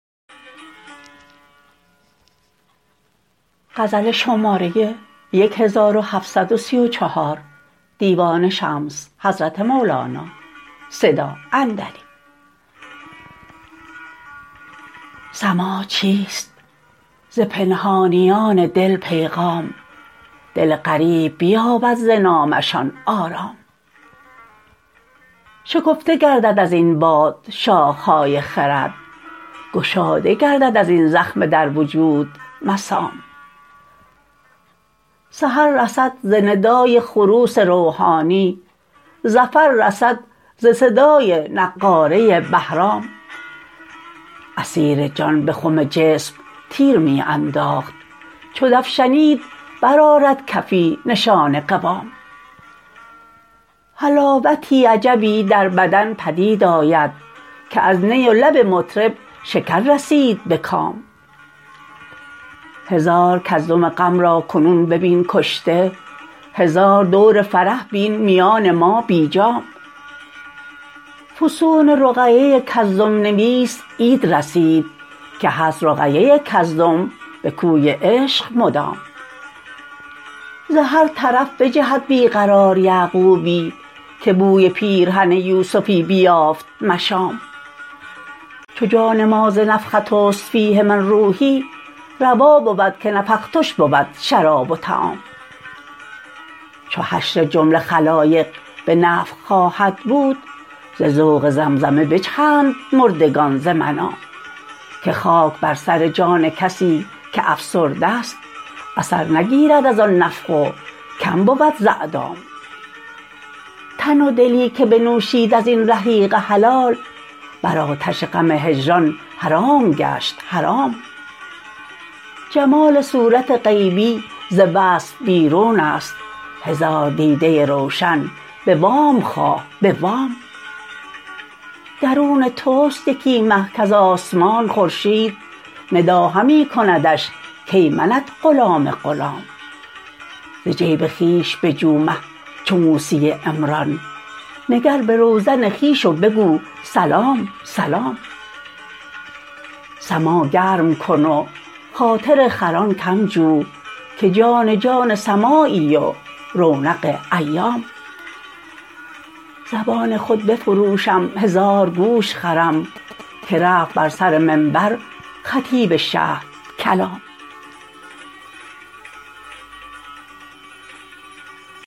سماع چیست ز پنهانیان دل پیغام دل غریب بیابد ز نامه شان آرام شکفته گردد از این باد شاخه های خرد گشاده گردد از این زخمه در وجود مسام سحر رسد ز ندای خروس روحانی ظفر رسد ز صدای نقاره بهرام عصیر جان به خم جسم تیر می انداخت چو دف شنید برآرد کفی نشان قوام حلاوتی عجبی در بدن پدید آید که از نی و لب مطرب شکر رسید به کام هزار کزدم غم را کنون ببین کشته هزار دور فرح بین میان ما بی جام فسون رقیه کزدم نویس عید رسید که هست رقیه کزدم به کوی عشق مدام ز هر طرف بجهد بی قرار یعقوبی که بوی پیرهن یوسفی بیافت مشام چو جان ما ز نفخت است فیه من روحی روا بود که نفختش بود شراب و طعام چو حشر جمله خلایق به نفخ خواهد بود ز ذوق زمزمه بجهند مردگان ز منام که خاک بر سر جان کسی که افسرده ست اثر نگیرد از آن نفخ و کم بود ز اعدام تن و دلی که بنوشید از این رحیق حلال بر آتش غم هجران حرام گشت حرام جمال صورت غیبی ز وصف بیرون است هزار دیده روشن به وام خواه به وام درون توست یکی مه کز آسمان خورشید ندا همی کندش کای منت غلام غلام ز جیب خویش بجو مه چو موسی عمران نگر به روزن خویش و بگو سلام سلام سماع گرم کن و خاطر خران کم جو که جان جان سماعی و رونق ایام زبان خود بفروشم هزار گوش خرم که رفت بر سر منبر خطیب شهدکلام